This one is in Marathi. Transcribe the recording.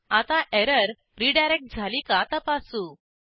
आता एरर रीडायरेक्ट झाली का तपासू